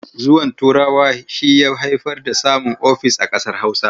Zuwan Turawa shi ya haifar da samun ofis a ƙasar Hausa.